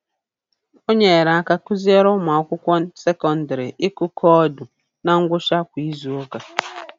O nyere aka kụziere ụmụakwụkwọ sekondịrị ịkụ koodu na ngwụcha kwa izuụka